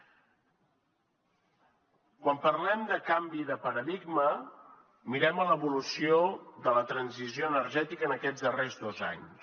quan parlem de canvi de paradigma mirem l’evolució de la transició energètica en aquests darrers dos anys